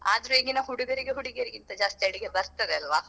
ಆದ್ರೆ ಈಗಿನ ಹುಡುಗರಿಗೆ ಹುಡುಗಿಯರ್ಕ್ಕಿಂತ ಜಾಸ್ತಿ ಅಡಿಗೆ ಬರ್ತದಲ್ವಾ.